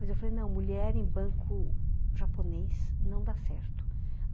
Mas eu falei, não, mulher em banco japonês não dá certo.